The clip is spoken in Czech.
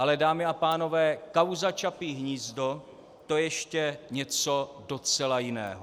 Ale dámy a pánové, kauza Čapí hnízdo, to je ještě něco docela jiného.